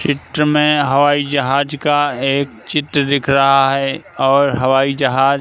चित्र में हवाई जहाज का एक चित्र दिख रहा है और हवाई जहाज--